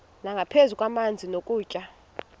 nangaphezu kwamanzi nokutya